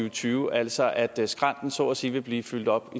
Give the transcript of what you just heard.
og tyve altså at skrænten så at sige vil blive fyldt op